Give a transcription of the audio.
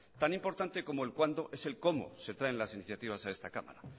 tan importante como el cuándo es el cómo se traen las iniciativas a esta cámara